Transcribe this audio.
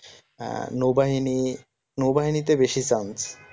হ্যাঁ নৌবাহিনী নৌবাহিনীতে বেশি সাঞ্জ